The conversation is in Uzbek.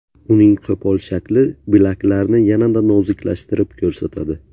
Uning qo‘pol shakli bilaklarni yanada noziklashtirib ko‘rsatadi.